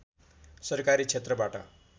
सरकारी क्षेत्रबाट